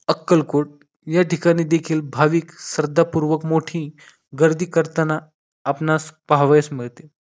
अक्कलकोट या ठिकाणी देखील भाविक श्रद्धापूर्वक मोठी गर्दी करताना आपणास पहावयास मिळते.